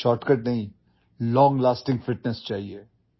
shortcut নহয় দীৰ্ঘস্থায়ী ফিটনেছৰ প্ৰয়োজন